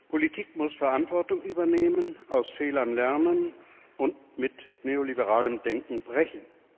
Politik muss Verantwortung übernehmen, aus Fehlern lernen und mit neoliberalem Denken brechen!